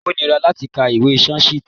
Ó níra láti ka ìwé Sanskrit.